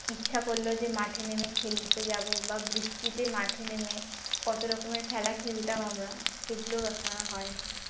ইচ্ছা করলো যে মাঠে নেমে খেলতে যাব বা বৃষ্টিতে মাঠে নেমে কত রকমের খেলা খেলতাম আমরা সেগুলো এখন আর হয় না